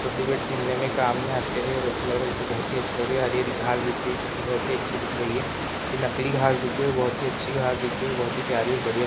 खेलने में काम में आते हैं और ऐसा लग रहा है जैसे बहुत ही अच्छी लग रही है हरी-हरी घास दिख रही है जो की बहुत ही अच्छी दिख रही है यह नकली घास दिख रही है बहुत ही अच्छी घास दिख रही है बहुत ही प्यारी और बढ़िया।